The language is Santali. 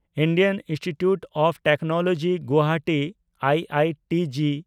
Indian institute of technology Guwahati (I I T G)